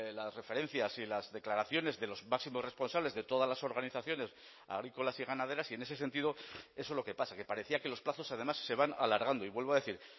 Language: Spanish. las referencias y las declaraciones de los máximos responsables de todas las organizaciones agrícolas y ganaderas y en ese sentido eso es lo que pasa que parecía que los plazos además se van alargando y vuelvo a decir